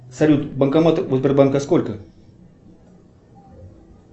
салют банкоматов у сбербанка сколько